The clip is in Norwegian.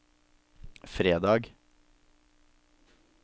fredag